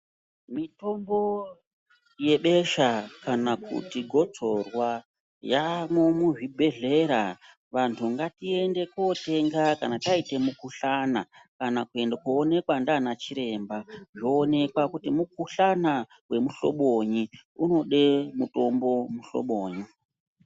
Mitombo yebesha kana kuti gotsorwa yamo muzvibhedhlera vantu ngatiende kotenga kana taita mukuhlana. Kana koonekwa ndiana chiremba zvoonekwa kuti mukuhlana vemuhlobonyi unode mutombo vemuhlobonyi.